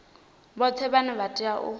vhoṱhe vhane vha tea u